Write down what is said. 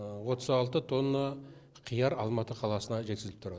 отыз алты тонна қияр алматы қаласына жеткізіліп тұрады